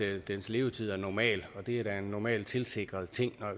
at dens levetid er normal det er jo en normalt tilsikret ting